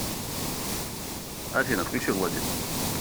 афина включи влади